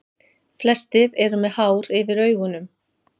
Flestir eru með hár yfir augunum.